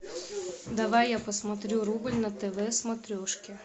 давай я посмотрю рубль на тв смотрежке